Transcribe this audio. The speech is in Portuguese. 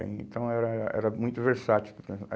Então, era era era muito versátil.